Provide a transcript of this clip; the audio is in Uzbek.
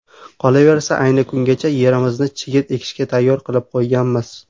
Qolaversa, ayni kungacha yerimizni chigit ekishga tayyor qilib qo‘yganmiz.